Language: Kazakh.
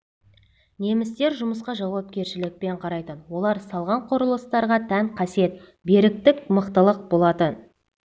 немістер жұмысқа жауапкершілікпен қарайтын олар салған құрылыстарға тән қасиет беріктік мықтылық болатын